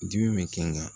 Dimi bɛ kɛ n kan